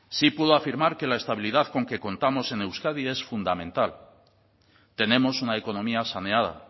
sí puedo afirmar que la estabilidad con que contamos en euskadi es fundamental tenemos una economía saneada